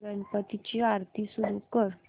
गणपती ची आरती सुरू कर